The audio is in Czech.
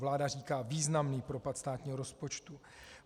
Vláda říká významný propad státního rozpočtu.